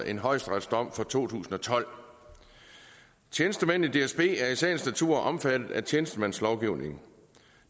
en højesteretsdom fra to tusind og tolv tjenestemænd i dsb er i sagens natur omfattet af tjenestemandslovgivningen og